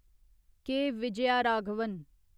के. Vijayaraghavan